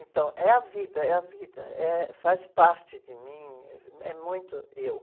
Então, é a vida, é a vida, eh, faz parte de mim, é muito eu.